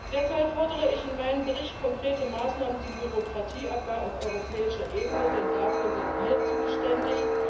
Deshalb fordere ich in meinem Bericht konkrete Maßnahmen zum Bürokratieabbau auf europäischer Ebene, denn dafür sind wir zuständig.